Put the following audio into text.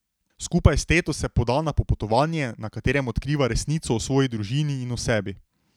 Skupaj s teto se poda na popotovanje, na katerem odkriva resnico o svoji družini in o sebi.